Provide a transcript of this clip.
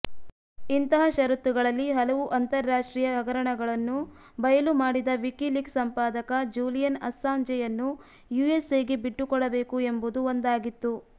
ಇಂತಹ ಶರತ್ತುಗಳಲ್ಲಿ ಹಲವು ಅಂತರರಾಷ್ಟ್ರೀಯ ಹಗರಣಗಳನ್ನು ಬಯಲು ಮಾಡಿದ ವೀಕೀಲೀಕ್ಸ್ ಸಂಪಾದಕ ಜೂಲಿಯನ್ ಅಸ್ಸಾಂಜೆಯನ್ನು ಯುಎಸ್ಎಗೆ ಬಿಟ್ಟುಕೊಡಬೇಕು ಎಂಬುದೂ ಒಂದಾಗಿತ್ತು